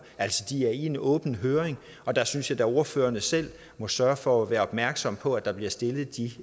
altså de er i en åben høring og der synes jeg da ordførerne selv må sørge for at være opmærksomme på at der bliver stillet de